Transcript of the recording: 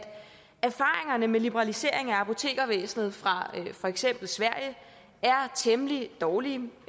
erfaringerne med liberalisering af apotekervæsenet fra for eksempel sverige er temmelig dårlige